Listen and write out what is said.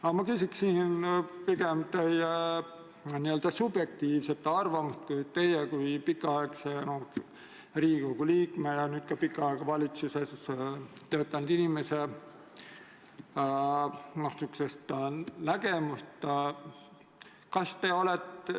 Aga ma küsin pigem teie subjektiivset arvamust, teie kui pikaaegse Riigikogu liikme ja nüüd ka pikka aega valitsuses töötanud inimese nägemust.